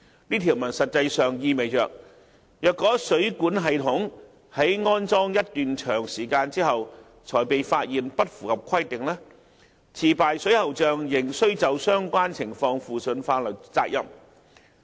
這條文實際上意味着，若水管系統在安裝一段長時間後才被發現不符合規定，持牌水喉匠仍須就相關情況負上法律責任。